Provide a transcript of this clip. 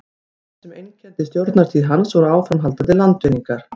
það sem einkenndi stjórnartíð hans voru áframhaldandi landvinningar